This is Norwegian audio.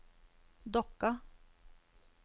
Dokka